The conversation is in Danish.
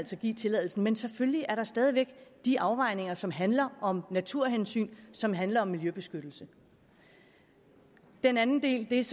skal give tilladelsen men selvfølgelig er der stadig væk de afvejninger som handler om naturhensyn som handler om miljøbeskyttelse den anden del er